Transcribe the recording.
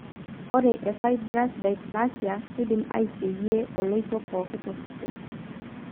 Ore eFibrous dysplasia keidim aiseyie oloito pooki tosesen.